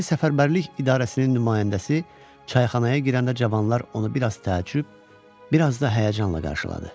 Hərbi Səfərbərlik İdarəsinin nümayəndəsi çayxanaya girəndə cavanlar onu bir az təəccüb, bir az da həyəcanla qarşıladı.